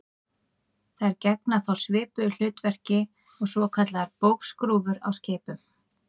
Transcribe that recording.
Þær gegna þá svipuðu hlutverki og svokallaðar bógskrúfur á skipum.